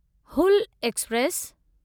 Hul express